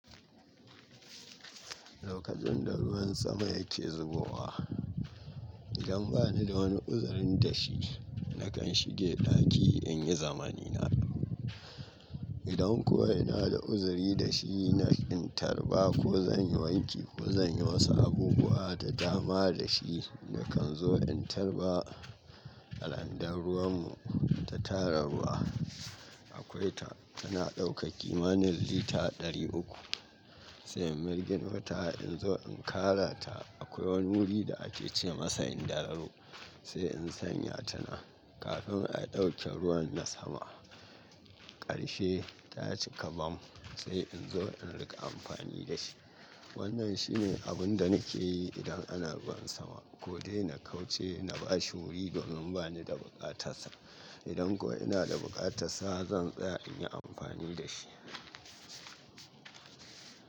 Lokacin da ruwan sama yake zubowa, idan ba ni da wani uzurin da shi, nakan shige ɗaki in yi zamanina. Idan kuwa ina da uzuri da shi, na ƙin tarba ko zan yi wanki ko zan yi wasu abubuwa da dama da shi. Nakan zo in tarba a Randan ruwanmu ta tararwa. Akwai ta tana ɗauka kimanin lita ɗari uku sai in mirgino ta in zo in Kara ta. Akwai wani wuri da ake ce masa indararo sai in sanya tanan kafin a ɗauke ruwan na sama. Ƙarshe ta cika bam sai in zo in riƙa amfani da shi. Wannan shi ne abin da nake yi idan ana ruwan sama. Ko dai na kauce na bashi wuri domin ba ni da buƙatarsa. Idan kuwa ina da buƙatarsa, zan tsaya in yi amfani da shi.